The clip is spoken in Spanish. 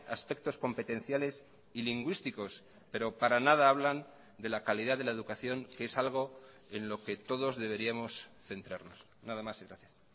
aspectos competenciales y lingüísticos pero para nada hablan de la calidad de la educación que es algo en lo que todos deberíamos centrarnos nada más y gracias